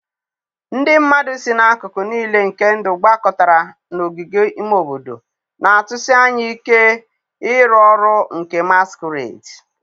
ndị mmadụ si n'akụkụ nile nke ndụ gbakọtara n'ogige ime obodo, na-atụsi anya ike ịrụ ọrụ nke masquerades.